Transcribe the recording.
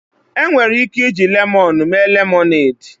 Enwere ike iji lemoonu mee lemọned.